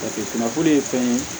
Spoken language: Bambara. Jate kunnafoni ye fɛn ye